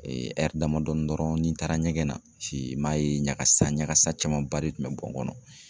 damadɔɔni dɔrɔn ni taara ɲɛgɛn na, i m'a ye ɲagasa ɲagasa camanba de tun bɛ bɔ n kɔnɔ.